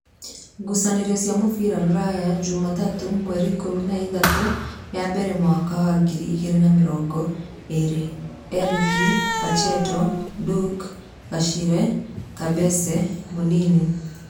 ngucanio cia mũbira Ruraya jumatatũ mweri ikũmi na ithatũ ya mbere mwaka wa ngiri igĩrĩ na mĩrongoĩrĩ: Erike, Pacheto, Nduke, Garishe, Kabase, Munini